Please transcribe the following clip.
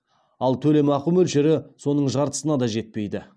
ал төлемақы мөлшері соның жартысына да жетпейді